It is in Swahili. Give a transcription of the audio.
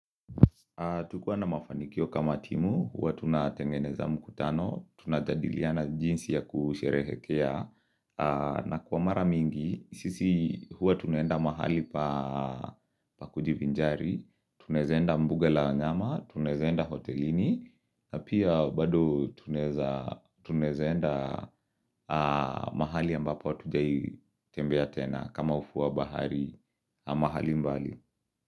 Tukiwa na mafanikio kama timu, huwa tuna tengeneza mkutano, tuna jadiliana jinsi ya kusherehekea, na kwa mara mingi, sisi huwa tunaenda mahali pa kujibinjari, tunae zaenda mbuga la nyama, tuna zaenda hotelini, na pia bado tuna zaenda mahali ambapo hatujai tembea tena kama ufuo wa bahari, mahali mbali.